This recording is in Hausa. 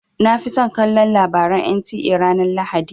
Na fi son kallon labaran NTA ranar lahadi.